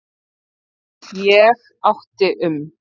Ég átti um